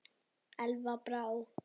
Elva Brá.